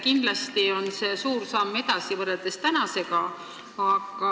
Kindlasti on see suur samm edasi võrreldes tänase olukorraga.